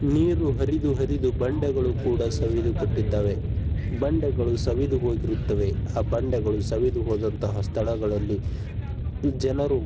ನೀರು ಹರಿದು ಹರಿದು ಬಂಡೆಗಳು ಸವಿದು ಹೋಗಿರುತ್ತದೆ. ಬಂಡೆಗಳು ಸವಿದು ಹೋಗಿರುತ್ತದೆ. ಬಂಡೆಗಳು ಸವಿದು ಹೋಗಿದ್ದಿರುವಂತಹ ಸ್ಥಳದಲ್ಲಿ ಜನರು--